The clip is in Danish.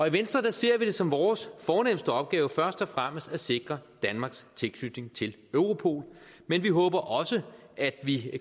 i venstre ser vi det som vores fornemste opgave først og fremmest at sikre danmarks tilknytning til europol men vi håber også at vi